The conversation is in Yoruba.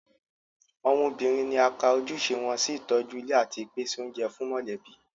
Àwọn obìnrin ni a ka ojúṣe wọn sí ìtọ́jú ilé àti ìpèsè oúnjẹ fún mọ̀lẹ́bí